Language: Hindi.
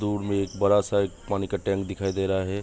दूर में एक बड़ा सा एक पानी का टैंक दिखाई दे रहा है।